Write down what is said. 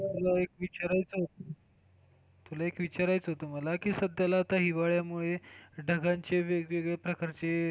मला एक विचारायचं होत तुला एक विचारायचा होतं मला कि सध्याला आता हिवाळ्यामुळे ढगांचे जे वेगवेगळे प्रकारचे,